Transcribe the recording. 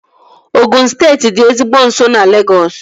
Ogụn steeti dị ezigbo nso na Legọs